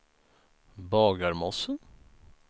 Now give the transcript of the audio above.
Bagarmossen